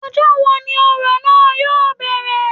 Ọjọ́ wo ni òrò náà yóò bẹ̀rẹ̀